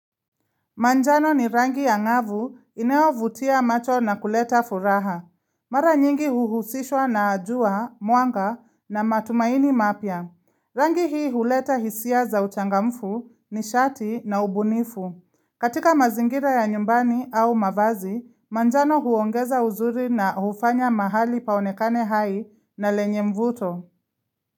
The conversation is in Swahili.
Manjano ni rangi ya ngavu inayo vutia macho na kuleta furaha. Mara nyingi uhusishwa na jua, mwanga na matumaini mapia. Rangi hii huleta hisia za uchangamfu ni shati na ubunifu. Katika mazingira ya nyumbani au mavazi, manjano huongeza uzuri na hufanya mahali paonekane hai na lenye mvuto.